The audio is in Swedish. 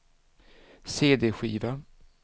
cd-skiva